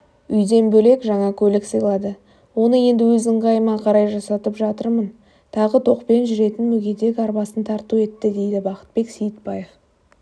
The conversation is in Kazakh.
үйден бөлек жаңа көлік сыйлады оны енді өз ыңғайыма қарай жасатып жатырмын тағы тоқпен жүретін мүгедек арбасын тарту етті дейдібақытбек сейітбаев